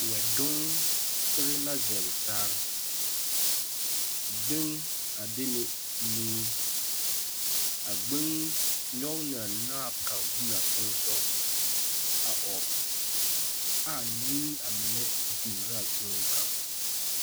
Wԑdonsere la zͻͻrͻ taa, gbeŋi a de ne nii. A gbeŋi nyͻge la a naao kaŋa biŋaa teŋԑ sogͻ a ͻͻ. Aa nii a mine digire a gbeŋi kaŋ.